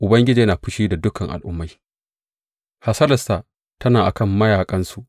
Ubangiji yana fushi da dukan al’ummai; hasalarsa tana a kan mayaƙansu.